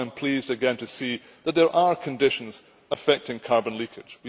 That is why I am pleased again to see that there are conditions affecting carbon leakage.